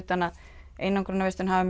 einangrunarvist hafi